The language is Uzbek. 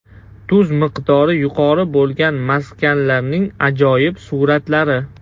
Tuz miqdori yuqori bo‘lgan maskanlarning ajoyib suratlari .